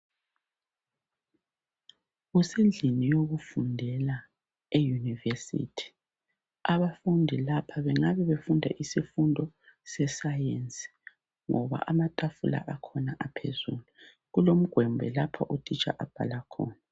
kusendlini yokuundela eyunivesithi abafundi lapho kungabe befunda isifudo se sayenci ngoba amatafula akhona aphezulu kulomgwembe lapho u titsha ahlala khona